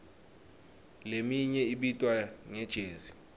leminye ibitwa nge jezi